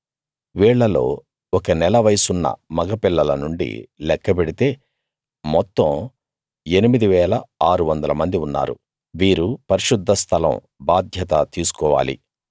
వీళ్ళలో ఒక నెల వయసున్న మగ పిల్లల నుండి లెక్క పెడితే మొత్తం 8 600 మంది ఉన్నారు వీరు పరిశుద్ధ స్థలం బాధ్యత తీసుకోవాలి